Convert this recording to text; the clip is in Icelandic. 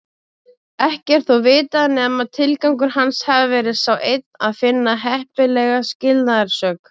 Ekki er þó vitað nema tilgangur hans hafi verið sá einn að finna heppilega skilnaðarsök.